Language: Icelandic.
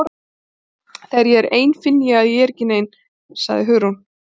Þegar ég er ein finn ég að ég er ekki nein- sagði Hugrún.